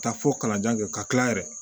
Ka taa fo kalanden ka kila yɛrɛ